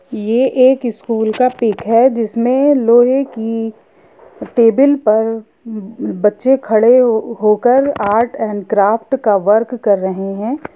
ये एक स्कूल का पिक है जिसमें लोहे की टेबल पर बच्चे खड़े होकर आर्ट एंड क्राफ्ट का वर्क कर रहै हैं।